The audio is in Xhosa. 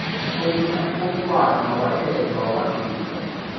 komntwana wathethwa wagqitywa